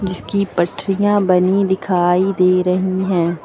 जिसकी पटरियां बनीं दिखाई दे रही हैं।